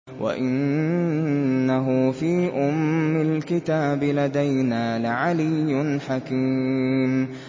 وَإِنَّهُ فِي أُمِّ الْكِتَابِ لَدَيْنَا لَعَلِيٌّ حَكِيمٌ